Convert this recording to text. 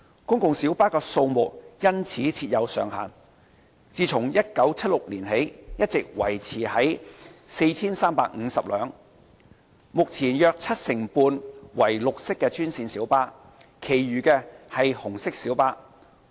公共小巴的數目因此設有上限，自1976年起一直維持在 4,350 輛，目前約七成半為綠色專線小巴，其餘為紅色小巴。